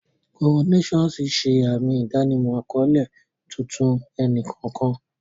Coronations ṣe àmì ìdánimọ̀ àkọ́lé tuntun ẹnì kọ̀ọ̀kan.